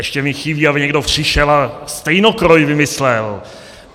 Ještě mi chybí, aby někdo přišel a stejnokroj vymyslel.